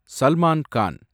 Salman Khan